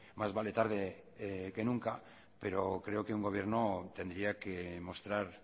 más vale tarde que nunca pero creo que un gobierno tendría que mostrar